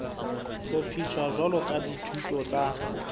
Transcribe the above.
hlophiswa jwalo ka dithuto tsa